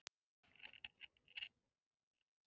Það verða allir að læra að reikna, Þorfinnur